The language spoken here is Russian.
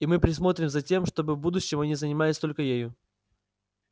и мы присмотрим за тем чтобы в будущем они занимались только ею